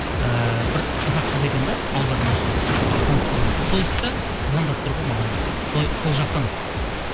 ііі бір қазақ қыз екен де аудармашы атын ұмытып қалдым сол кісі звондап тұр ғой маған сол жақтан